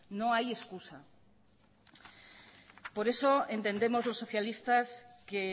no hay excusa por eso entendemos los socialistas que